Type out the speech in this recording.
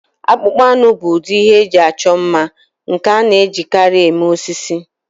Akpụkpọ anụ bụ ụdị ihe eji achọ mma nke a na-ejikarị eme osisi.